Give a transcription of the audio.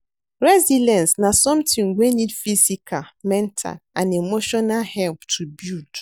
Resilience na somthing wey need physical, mental and emotional help to build.